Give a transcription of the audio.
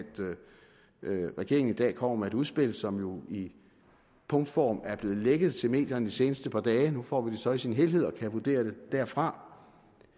regeringen i dag kommer med et udspil som jo i punktform er blevet lækket til medierne de seneste par dage nu får vi det så i sin helhed og kan vurdere det derfra